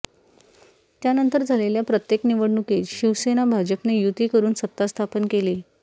त्यानंतर झालेल्या प्रत्येक निवडणुकीत शिवसेना भाजपने युती करून सत्ता स्थापन केली